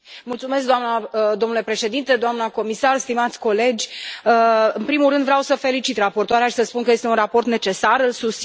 Domnule președinte, doamnă comisar, stimați colegi, în primul rând vreau să felicit raportoarea și să spun că este un raport necesar, îl susțin și îl voi vota.